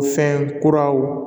Fɛn kuraw